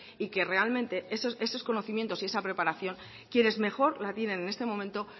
y que realmente esos conocimientos y esa preparación quienes mejor la tienen en este momento